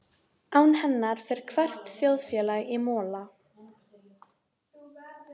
Maður þarf nú aðeins að fá að melta þetta.